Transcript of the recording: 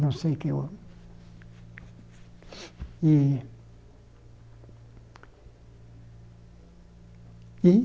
Não sei que eu... E... E?